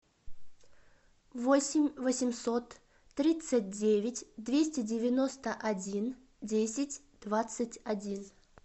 восемь восемьсот тридцать девять двести девяносто один десять двадцать один